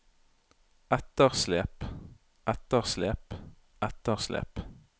etterslep etterslep etterslep